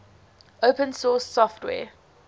open source software